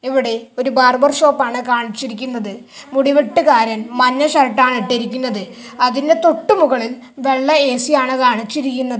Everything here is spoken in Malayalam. ഇവിടെ ഒരു ബാർബർ ഷോപ്പാണ് കാണിച്ചിരിക്കുന്നത് മുടി വെട്ടുകാരൻ മഞ്ഞ ഷർട്ട് ആണ് ഇട്ടിരിക്കുന്നത് അതിന്റെ തൊട്ട് മുകളിൽ വെള്ള എ_സി ആണ് കാണിച്ചിരിക്കുന്നത്.